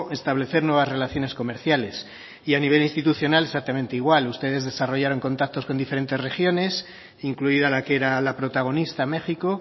establecer nuevas relaciones comerciales y a nivel institucional exactamente igual ustedes desarrollaron contactos con diferentes regiones incluida la que era la protagonista méxico